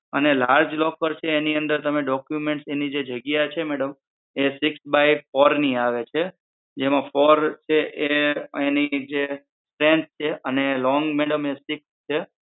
અને large locker છે એની અંદર તમે documents છે એની જે જગ્યા છે madam એ six by ની આવે છે જેમાં છે એ એની જે ફેન્સ છે અને long એ madam six છે